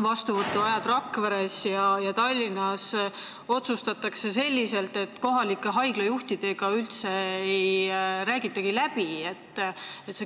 vastuvõtuaegade üle Rakveres ja Tallinnas, otsustatakse nii, et kohalike haiglajuhtidega üldse läbi ei räägitagi.